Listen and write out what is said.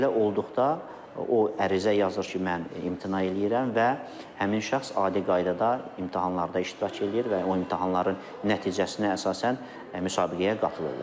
Belə olduqda o ərizə yazır ki, mən imtina eləyirəm və həmin şəxs adi qaydada imtahanlarda iştirak eləyir və o imtahanların nəticəsinə əsasən müsabiqəyə qatılırlar.